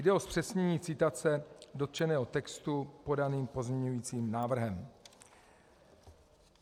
Jde o zpřesnění citace dotčeného textu podaným pozměňovacím návrhem.